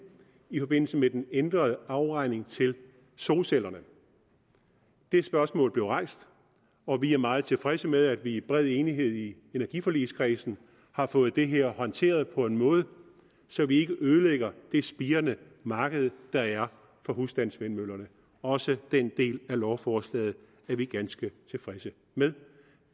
i forbindelse med den ændrede afregning til solcellerne det spørgsmål blev rejst og vi er meget tilfredse med at vi i bred enighed i energiforligskredsen har fået det her håndteret på en måde så vi ikke ødelægger det spirende marked der er for husstandsvindmøllerne også den del af lovforslaget er vi ganske tilfredse med